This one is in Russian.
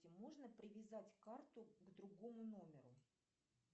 можно привязать карту к другому номеру